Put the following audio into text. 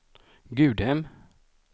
Gudhem